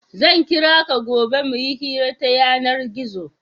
Zan kira ka gobe mu yi hira ta yanar-gizo.